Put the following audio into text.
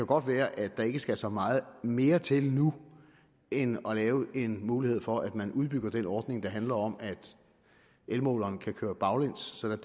godt være at der ikke skal så meget mere til nu end at lave en mulighed for at man udbygger den ordning der handler om at elmåleren kan køre baglæns sådan at